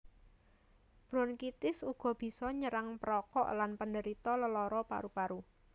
Bronkitis uga bisa nyerang perokok lan penderita lelara paru paru